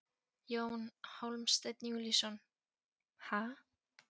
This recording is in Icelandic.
Jón Hólmsteinn Júlíusson: Ha?